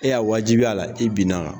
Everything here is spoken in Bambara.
E y'a wajibiya a la i binna a kan